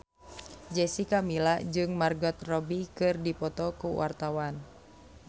Jessica Milla jeung Margot Robbie keur dipoto ku wartawan